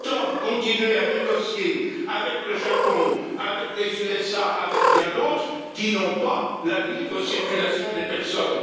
Pourtant, vous continuez à négocier avec le Japon, avec les États Unis et bien d'autres, qui n'ont pas la libre circulation des personnes.